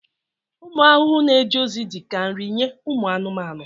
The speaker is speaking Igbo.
Ụmụ ahụhụ na-eje ozi dị ka nri nye ụmụ anụmanụ.